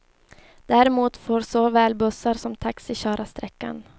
Däremot får såväl bussar som taxi köra sträckan.